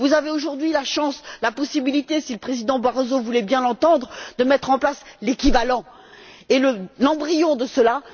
Vous avez aujourd'hui la chance, la possibilité, si le Président Barroso voulait bien nous entendre, de mettre en place l'équivalent et l'embryon de cela